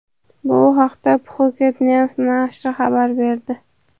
Bu haqda Phuket News nashri xabar berdi .